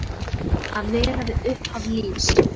Að vera við upphaf lífs.